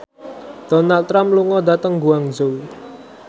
Donald Trump lunga dhateng Guangzhou